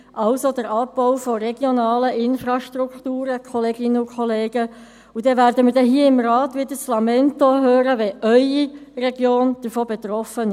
Dies bedeutet den Abbau regionaler Infrastrukturen, Kolleginnen und Kollegen, und dann werden wir hier im Rat wieder ein Lamento hören, wenn Ihre Region davon betroffen ist.